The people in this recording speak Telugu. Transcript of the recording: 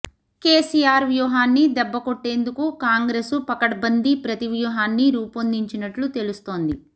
కెసిఆర్ వ్యూహాన్ని దెబ్బ కొట్టేందుకు కాంగ్రెసు పకడ్బందీ ప్రతివ్యూహాన్ని రూపొందించినట్లు తెలుస్తోంది